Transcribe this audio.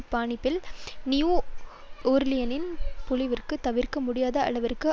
பாணியில் நியூ ஓர்லியனின் பேரழிவிற்கு தவிர்க்க முடியாத அளவிற்கு